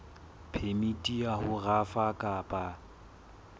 phemiti ya ho rafa kapa